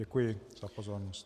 Děkuji za pozornost.